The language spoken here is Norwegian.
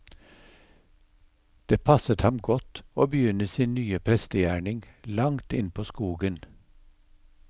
Det passet ham godt å begynne sin ny prestegjerning langt innpå skogen.